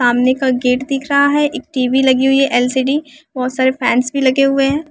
सामने का गेट दिख रहा है एक टीवी लगी हुई है एल_सी_डी बहुत सारे फैंस भी लगे हुए हैं।